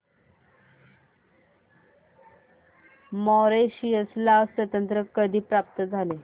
Mauritius ला स्वातंत्र्य कधी प्राप्त झाले